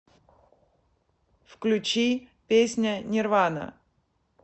включи песня нирвана